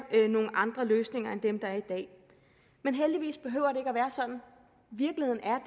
nogle andre løsninger end dem der er i dag men heldigvis behøver at være sådan virkeligheden er